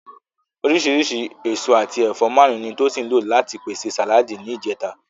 Oríṣìíríṣìí èso àti ẹ̀fọ́ márùn-ún ni Tosin lò láti pèsè sàláàdì ní ìjẹta